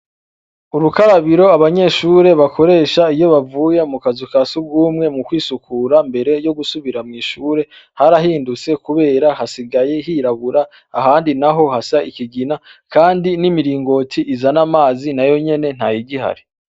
Urukarabiro abanyeshure bakoresha iyo bavuye mu kazu ka si ugumwe mu kwisukura mbere yo gusubira mw'ishure harahindutse, kubera hasigaye hirabura ahandi na ho hasa ikigina, kandi n'imiringoti izana amazi na yo nyene nta yigihare.